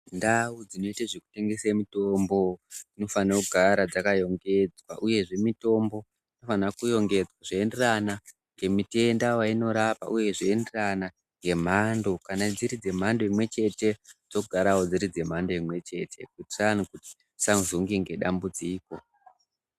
Ndau dzinoite zvekutengese mitombo dzinofanira kugara dzakarongedzwa uyezve mitombo inofanirwa kurongedzwa zveienderana ngemitenda wainorapa uye zveienderana ngemhando. Kana dziri dzemhando imwechete dzogarawo dziri dzemhando imwechete kuitira kuti dzisazonge ngedambudziko .